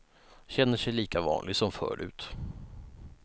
Känner sig lika vanlig som förut.